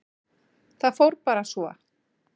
Það fór bara svo.